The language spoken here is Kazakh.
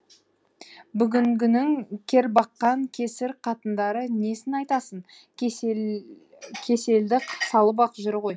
бүгінгінің кербаққан кесір қатындары несін айтасың кеселді салып ақ жүр ғой